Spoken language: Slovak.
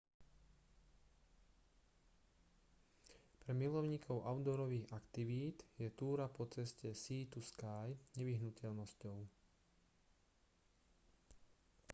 pre milovníkov outdoorových aktivít je túra po ceste sea to sky nevyhnutnosťou